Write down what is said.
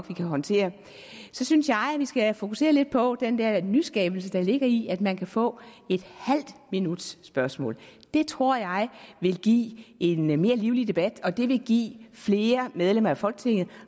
vi kan håndtere så synes jeg at vi skal fokusere lidt på den der nyskabelse der ligger i at man kan få en halv minuts spørgsmål det tror jeg vil give en mere livlig debat og det vil give flere medlemmer af folketinget